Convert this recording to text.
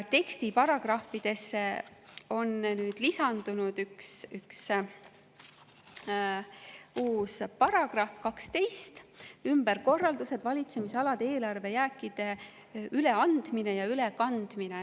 Tekstiparagrahvidesse on nüüd lisandunud üks uus paragrahv, § 12 "Ümberkorraldatud valitsemisalade eelarvejääkide üleandmine ja ülekandmine".